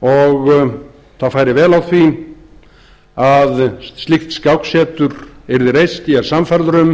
og það færi vel á því að slíkt skáksetur yrði reist ég er sannfærður um